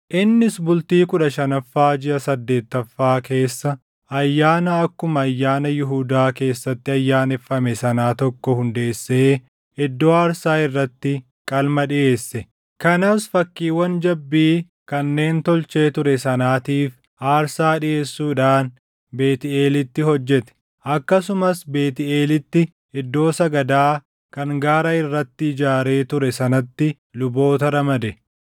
Innis bultii kudha shanaffaa jiʼa saddeettaffaa keessa ayyaana akkuma ayyaana Yihuudaa keessatti ayyaaneffame sanaa tokko hundeessee iddoo aarsaa irratti qalma dhiʼeesse. Kanas fakkiiwwan jabbii kanneen tolchee ture sanaatiif aarsaa dhiʼeessuudhaan Beetʼeelitti hojjete. Akkasumas Beetʼeelitti iddoo sagadaa kan gaara irratti ijaaree ture sanatti luboota ramade.